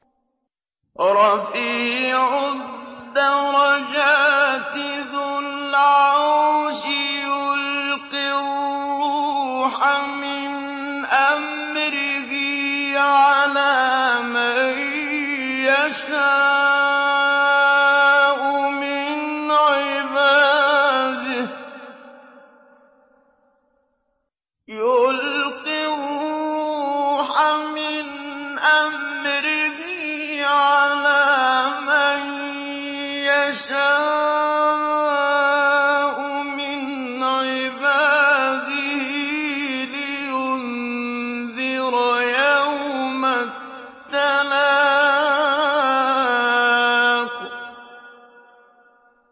رَفِيعُ الدَّرَجَاتِ ذُو الْعَرْشِ يُلْقِي الرُّوحَ مِنْ أَمْرِهِ عَلَىٰ مَن يَشَاءُ مِنْ عِبَادِهِ لِيُنذِرَ يَوْمَ التَّلَاقِ